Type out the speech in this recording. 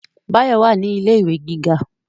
Báyọ̀ wà ní ilé ìwé gíga